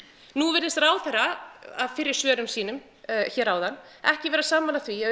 nú virðist ráðherra af fyrri svörum sínum hér áðan ekki vera sammála því að